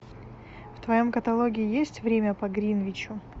в твоем каталоге есть время по гринвичу